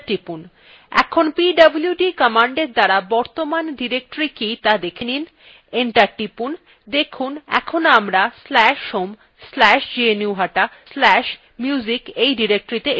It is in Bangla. এখন pwd commandএর দ্বারা বর্তমান directory কি ত়া দেখেনি enter টিপুন দেখুন এখন আমরা/home/gnuhata/musicত়ে এসেছি